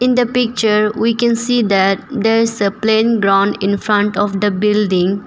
In the picture we can see that there is a plain ground in front of the building.